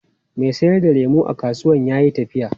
Mai sayar da lemu a kasuwan ya yi tafiya.